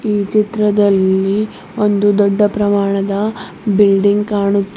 ಈ ಚಿತ್ರದಲ್ಲಿ ಒಂದು ದೊಡ್ಡ ಪ್ರಮಾಣದ ಬಿಲ್ಡಿಂಗ್ ಕಾಣುತ್ತಿದ್ದೆ.